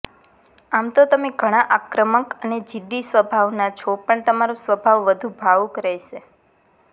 આમ તો તમે ઘણાં આક્રમક અને જિદ્દી સ્વભાવના છો પણ તમારો સ્વભાવ વધુ ભાવુક રહેશે